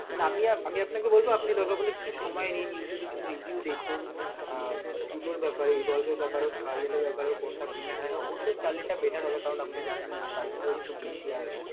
মানে আমি~আমি আপনাকে বলবো আপনি দরকার পড়লে কিছু সময় নিন youtube কিছু review দেখুন উম এর ব্যাপারে এর ব্যাপারে scarlet এর ব্যাপারে কোনটা better হয় অবশ্যই scarlet টায় better হবে কারণ আপনি জানেন এর price টাও একটু বেশি আর